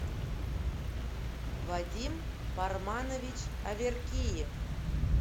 вадим парманович аверкиев